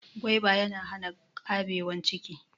Gwaiba ya na hana ƙabewan ciki